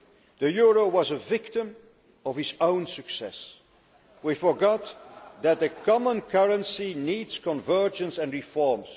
The euro was a victim of its own success. We forgot that the common currency needs convergence and reforms.